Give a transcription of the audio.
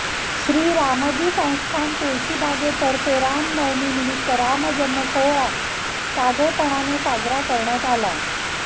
श्री रामजी संस्थान तुळशीबागतर्फे राम नवमी निमित्त राम जन्म सोहळा साधेपणाने साजरा करण्यात आला